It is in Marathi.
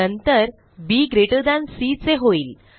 नंतर बीसी चे होईल